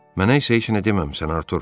Mənə isə heç nə deməmisən, Artur.